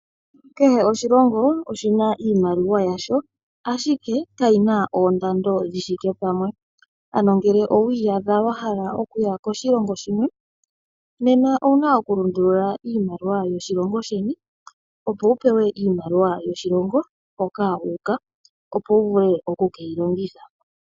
Kehe oshilongo oshina iimaliwa yasho ashike kayina oondando dhithike pamwe. Ano ngele owi iyadha wa hala okuya koshilongo shimwe nena owuna oku lundulula iimaliwa yoshilongo sheni miimaliwa yoshilongo moka wu uka opo wu vule oku keyi longitha.